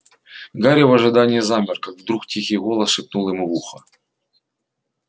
гарри в ожидании замер как вдруг тихий голос шепнул ему в ухо